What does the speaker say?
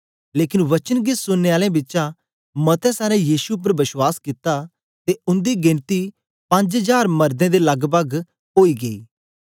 लेकन वचन गी सुनने आलें बिचा मतें सारें यीशु उपर बश्वास कित्ता ते उंदी गेनती पंज्ज जार मरदें दे लगपग ओई गई